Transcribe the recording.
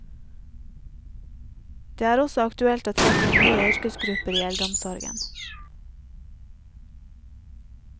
Det er også aktuelt å trekke inn nye yrkesgrupper i eldreomsorgen.